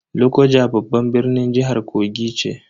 Lokoja babban birnin jihar Kogi ce.